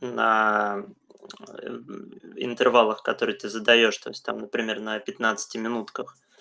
на ээ интервалах который ты задаёшь там например на пятнадцати минутках